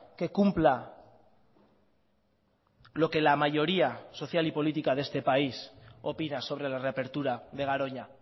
que cumpla lo que la mayoría social y política de este país opina sobre la reapertura de garoña